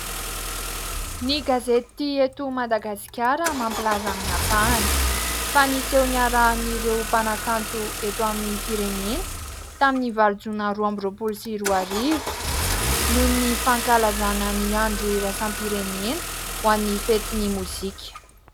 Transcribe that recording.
Ny gazety eto Madagasikara mampilaza amin'ny ampahany fa niseho niarahan''ireo mpanakanto eto amin'ny firenena tamin'ny valo jona roa amby roapolo sy roa arivo noho ny fankalazana ny andro iraisam-pirenena ho an'ny fetin'ny mozika.